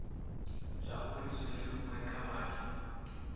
zwauri zwi leluwe kha vhathu